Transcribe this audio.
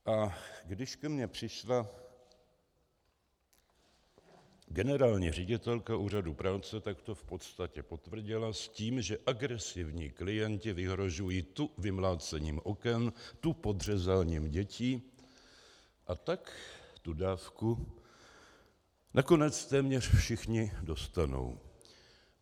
A když ke mně přišla generální ředitelka Úřadu práce, tak to v podstatě potvrdila s tím, že agresivní klienti vyhrožují tu vymlácením oken, tu podřezáním dětí, a tak tu dávku nakonec téměř všichni dostanou.